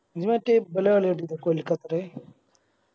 ഇജ്ജ് മറ്റേ ഇബലെ കളി കണ്ടിക്ക മറ്റേ കൊൽക്കത്തെടെ